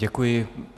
Děkuji.